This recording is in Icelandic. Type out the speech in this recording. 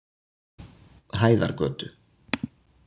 Hæðargötu